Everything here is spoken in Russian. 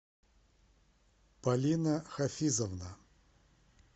полина хафизовна